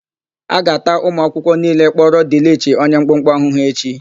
A ga-ata ụmụakwụkwọ niile kpọrọ Dịlịchi onye mkpụmkpụ ahụhụ echi.